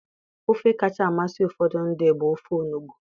Ofe kacha amasị ụfọdụ ndị bụ ofe onugbu